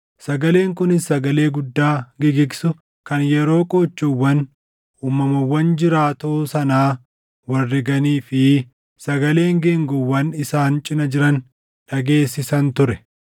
Sagaleen kunis sagalee guddaa gigigsu kan yeroo qoochoowwan uumamawwan jiraatoo sanaa wal riganii fi sagaleen geengoowwan isaan cina jiran dhageessisan ture.